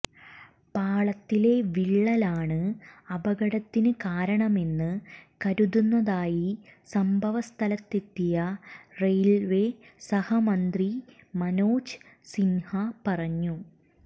പാളത്തിലെ വിള്ളലാണ് അപകടത്തിന് കാരണമെന്ന് കരുതുന്നതായി സംഭവ സ്ഥലത്തെത്തിയ റെയില്വേ സഹമന്ത്രി മനോജ് സിന്ഹ പറഞ്ഞു